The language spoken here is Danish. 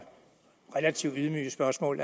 relativt ydmyge spørgsmål